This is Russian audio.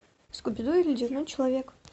скуби ду и ледяной человек